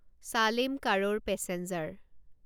চালেম কাৰোৰ পেছেঞ্জাৰ